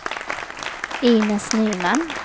Inez Nyman